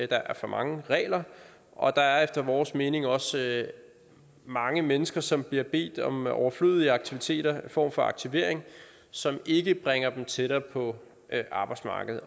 der er for mange regler og der er efter vores mening også mange mennesker som bliver bedt om at udføre overflødige aktiviteter altså en form for aktivering som ikke bringer dem tættere på arbejdsmarkedet